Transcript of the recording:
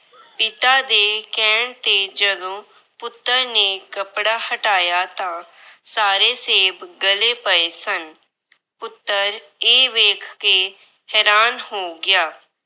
ਪਿਤਾ ਦੇ ਕਹਿਣ ਤੇ ਜਦੋਂ ਪੁੱਤਰ ਨੇ ਕੱਪੜਾ ਹਟਾਇਆ ਤਾਂ ਸਾਰੇ ਸੇਬ ਗਲੇ ਪਏ ਸਨ। ਪੁੱਤਰ ਇਹ ਵੇਖ ਕੇ ਹੈਰਾਨ ਹੋ ਗਿਆ।